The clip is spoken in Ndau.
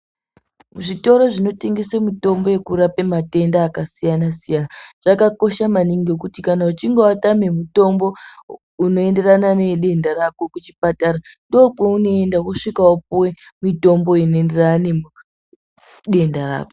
Zvitoro zvinotengese mitombo yekurapa matenda akasiyana siyana, zvakakosha maningi nekuti kana uchinge watame mutombo unoenderana nedenda rako kuchipatara ndokwaunoenda vosvika vopiwe, mitombo inoenderana nedenda rako.